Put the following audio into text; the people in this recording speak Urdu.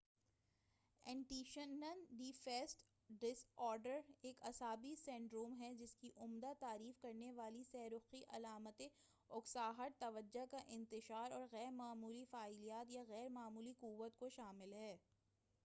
attention deficit disorder ایک اعصابی سنڈروم ہے جس کی عمدہ تعریف کرنے والی سہ رخی علامتیں اکساہٹ توجہ کا انتشار اور غیر معمولی فعالیت یا یا غیر معمولی قوت کو شامل ہے